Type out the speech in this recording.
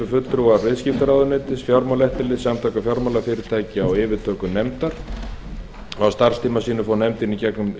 fulltrúar viðskiptaráðuneytisins fjármálaeftirlitsins samtaka fjármálafyrirtækja og yfirtökunefndar á starfstíma sínum fór nefndin í gegnum